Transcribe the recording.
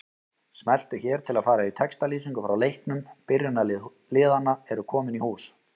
Smelltu hér til að fara í textalýsingu frá leiknum Byrjunarlið liðanna eru komin í hús.